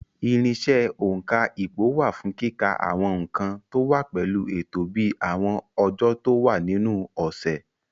Irinṣẹ́ òǹkà ipò wà fún kíka àwọn nǹkan tó wá pẹ̀lú ètò bíi àwọn ọjọ́ tó wà nínú ọ̀sẹ̀.